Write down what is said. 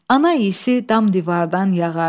Ana isi dam divardan yağardı.